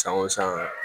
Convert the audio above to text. San o san